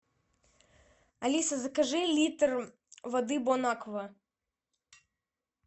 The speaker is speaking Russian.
алиса закажи литр воды бонаква